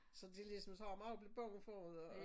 Så det ligesom så man er også lidt bange for at